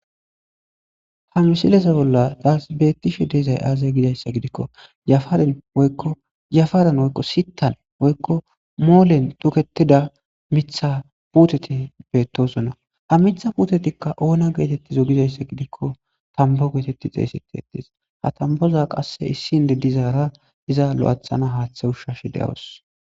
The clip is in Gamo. ha misilesa bolla taas bettishe deezay aaza gizayssa gidikko jafaren kojafaren woykko sitan woykko moolen tuketida mitha puuteti beetosuna ha mitha putetikka oona geetettizo gizayssa gidikko tambo geetetti xeeysetetis ha tamboza qasse issin dedizaara iza lo7athana haaththe ushshashi de7awos